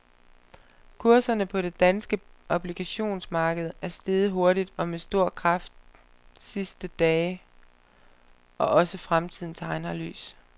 Kurserne på det danske obligationsmarked er steget hurtigt og med stor kraft sidste dage og også fremtiden tegner lys.